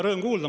Rõõm kuulda.